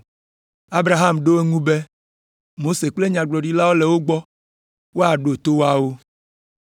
“Abraham ɖo eŋu be, ‘Mose kple Nyagblɔɖilawo le wo gbɔ, woaɖo to woawo.’